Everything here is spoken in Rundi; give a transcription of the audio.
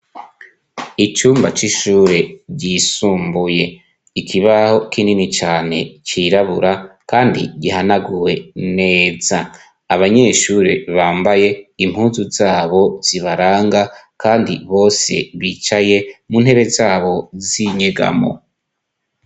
Icumba c'ishure ryisumbuye ikibaho k'inini cane cirabura, kandi gihanaguwe neza abanyeshure bambaye impuzu zabo zibaranga, kandi bose bicaye mu ntebe zabo zinyegamo.